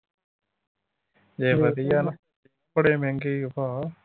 ਜੇ ਵਧੀਆ ਵਾ। ਬੜੇ ਮਹਿੰਗੇ ਈ ਓਹ ਭਾ।